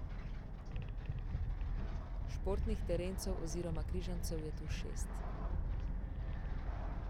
Športnih terencev oziroma križancev je tu šest.